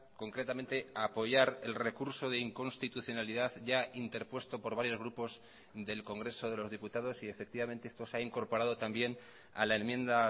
concretamente apoyar el recurso de inconstitucionalidad ya interpuesto por varios grupos del congreso de los diputados y efectivamente esto se ha incorporado también a la enmienda